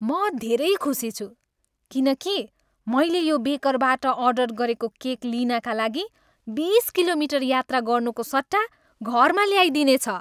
म धेरै खुसी छु किन कि मैले यो बेकरबाट अर्डर गरेको केक लिनाका लागि बिस किलोमिटर यात्रा गर्नुको सट्टा घरमा ल्याइदिनेछ।